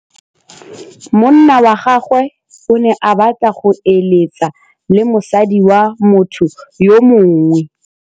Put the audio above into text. Monna wa gagwe o ne a batla go êlêtsa le mosadi wa motho yo mongwe.